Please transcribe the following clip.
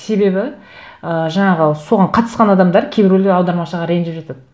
себебі ы жаңағы соған қатысқан адамдар кейбіреулер аудармашыға ренжіп жатады